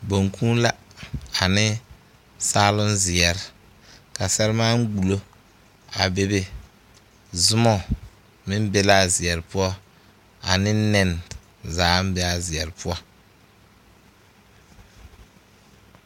Boŋkuu la ane saaloŋ zeɛre ka sɛremaan gbullo a bebe zoma meŋ be la a zeɛre poɔ ane nɛne zaaŋ be a zeɛre poɔ.